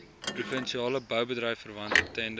provinsiale boubedryfverwante tenders